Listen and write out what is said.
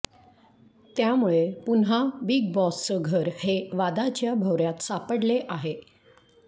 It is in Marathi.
त्यामुळे पुन्हा बिग बॉसच घर हे वादाच्या भवऱ्यात सापडले आहे